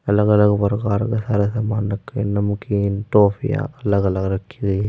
अलग अलग प्रकार के सारे सामान रखे हैं। नमकीन टॉफियां अलग अलग रखी हुई --